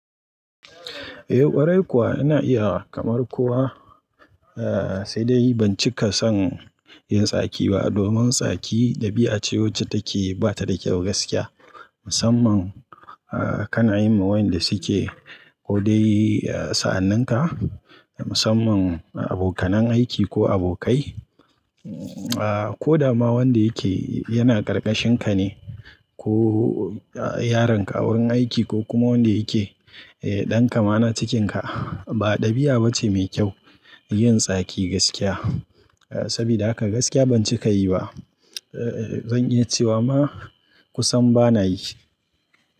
Eh ƙwarai kuwa ina iya kamar kowa, eh sai dai ban cika son yin tsaki ba domin tsaki ɗabi'a ce wacce take ba ta da kyau gaskiya musamman a kana yima wayanda suke ko dai sa'anninka musamman abokanan aiki ko abokai. Ko dama wanda yake yana ƙarƙashin ka ne ko yaronka, wurin aiki ko kuma wanda yake eh ɗanka ma na cikinka ba ɗabi'a bace mai kyau yin tsaki gaskiya. Sabida haka gaskiya ban cika yi ba. Eh zan iya cewa ma kusan bana yi.